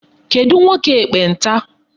Kedụ nwoke ekpenta?